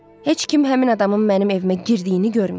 Heç kim həmin adamın mənim evimə girdiyini görməyib.